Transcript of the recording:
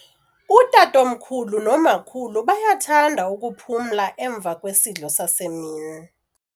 Utatomkhulu nomakhulu bayathanda ukuphumla emva kwesidlo sasemini.